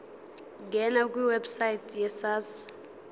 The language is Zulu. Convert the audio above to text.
ngena kwiwebsite yesars